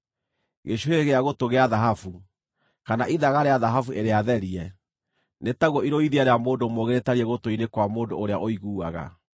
Gĩcũhĩ gĩa gũtũ gĩa thahabu, kana ithaga rĩa thahabu ĩrĩa therie, nĩ taguo irũithia rĩa mũndũ mũũgĩ rĩtariĩ gũtũ-inĩ kwa mũndũ ũrĩa ũiguaga.